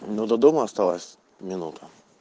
ну до дома осталась минуту